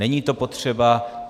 Není to potřeba.